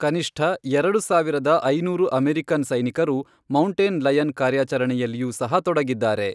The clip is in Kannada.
ಕನಿಷ್ಠ ಎರಡು ಸಾವಿರದ ಐನೂರು ಅಮೆರಿಕನ್ ಸೈನಿಕರು ಮೌಂಟೇನ್ ಲಯನ್ ಕಾರ್ಯಾಚರಣೆಯಲ್ಲಿಯೂ ಸಹ ತೊಡಗಿದ್ದಾರೆ.